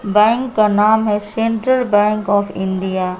Bank का नाम है सेंट्रल बैंक ऑफ इंडिया ।